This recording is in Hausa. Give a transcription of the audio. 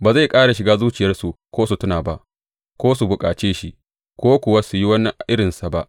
Ba zai ƙara shiga zuciyarsu ko su tuna ba; ko su bukace shi, ko kuwa su yi wani irinsa ba.